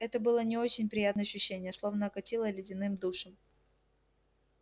это было не очень приятное ощущение словно окатило ледяным душем